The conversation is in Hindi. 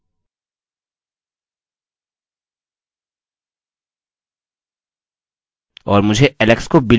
और मुझे alex को billy में बदलना है